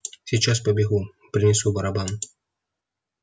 сейчас побегу принесу барабан